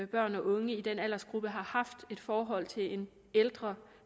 børn og unge i den aldersgruppe har haft et forhold til en ældre